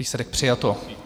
Výsledek - přijato.